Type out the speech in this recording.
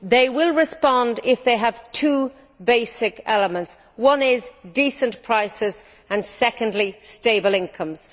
They will respond if they have two basic elements one is decent prices and the other is stable incomes.